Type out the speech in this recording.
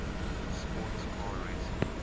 sports car racing